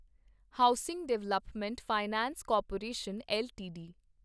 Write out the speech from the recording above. housing development finance corporation LTD